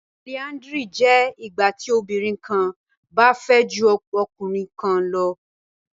Polyandry jẹ ìgbàtí obìnrin kán bá fẹ jù ọkùnrin kán lọ